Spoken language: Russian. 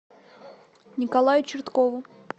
николаю черткову